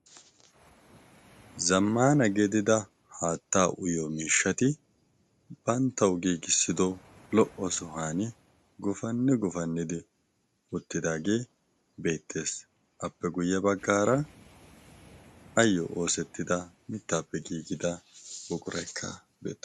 Zammana gidida haattaa uyiyo miishshati banttawu giigissido lo"o sohuwan gufanni gufannidi uttidaagee beettees. Appe guye baggaara ayo oosetitda mittaappe giigida buquraykka beettees.